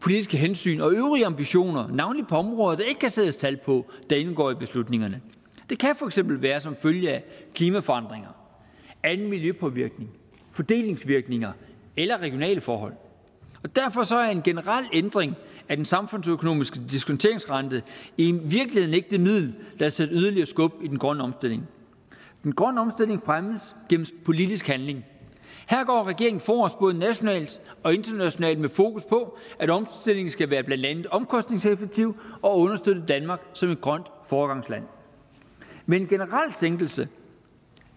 politiske hensyn og øvrige ambitioner navnlig på områder ikke kan sættes tal på der indgår i beslutningerne det kan for eksempel være som følge af klimaforandringer anden miljøpåvirkning fordelingsvirkninger eller regionale forhold derfor er en generel ændring af den samfundsøkonomisk diskonteringsrente i virkeligheden ikke det middel der vil sætte yderligere skub i den grønne omstilling en grøn omstilling fremmes gennem politisk handling her går regeringen forrest både nationalt og internationalt med fokus på at omstillingen skal være blandt andet omkostningseffektiv og understøtte danmark som et grønt foregangsland men en generel sænkelse